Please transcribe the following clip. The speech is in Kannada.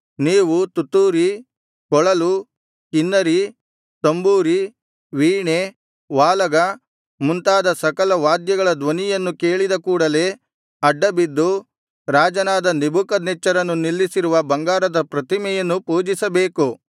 ನೀವು ತುತ್ತೂರಿ ಕೊಳಲು ಕಿನ್ನರಿ ತಂಬೂರಿ ವೀಣೆ ವಾಲಗ ಮುಂತಾದ ಸಕಲ ವಾದ್ಯಗಳ ಧ್ವನಿಯನ್ನು ಕೇಳಿದ ಕೂಡಲೆ ಅಡ್ಡಬಿದ್ದು ರಾಜನಾದ ನೆಬೂಕದ್ನೆಚ್ಚರನು ನಿಲ್ಲಿಸಿರುವ ಬಂಗಾರದ ಪ್ರತಿಮೆಯನ್ನು ಪೂಜಿಸಬೇಕು